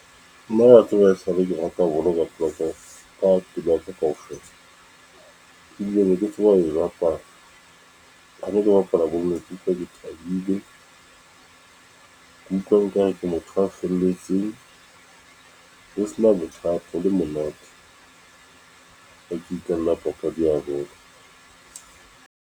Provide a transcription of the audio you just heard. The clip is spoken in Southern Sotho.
Nna wa tseba ha e sale ke rata bolo ka pelo ya ka kaofela e bile ne ke tseba ho e bapala ha ne ke bapala ne ke utlwa ke thabile nkare ke motho a felletseng ho sena bothata ho le monate papadi ya bolo.